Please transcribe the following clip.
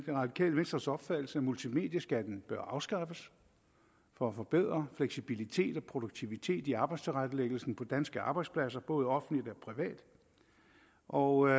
det radikale venstres opfattelse at multimedieskatten bør afskaffes for at forbedre fleksibilitet og produktivitet i arbejdstilrettelæggelsen på danske arbejdspladser både offentlige og